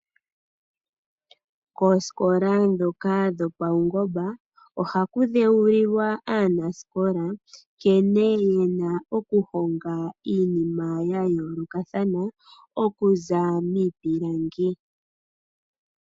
Koosikola ndhoka dho pawungomba ohaku dhewulilwa aanasikola nkene yena oku honga iinkma ya yoolokathana okuza miipilangi.